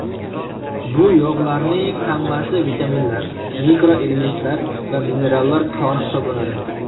Bu yog‘larning hammasi vitaminlar, mikroelementlar va minerallar koni hisoblanadi.